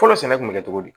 Fɔlɔ sɛnɛ kun bɛ kɛ cogo di